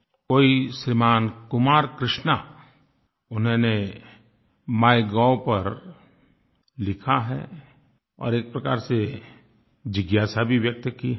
कोई श्रीमान कुमार कृष्णा उन्होंने माइगोव पर लिखा है और एक प्रकार से जिज्ञासा भी व्यक्त की है